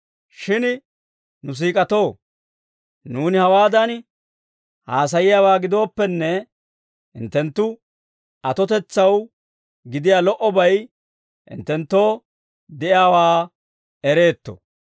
Shin nu siik'atoo, nuuni hawaadan haasayiyaawaa gidooppenne, hinttenttu atotetsaw gidiyaa lo"obay hinttenttoo de'iyaawaa ereetto.